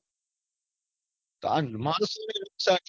આ હમ આ તકલીફ છે